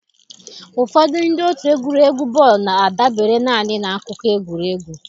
Ụfọdụ ndị otu egwuregwu bọọlụ na-adabere naanị na akụkọ egwuregwu.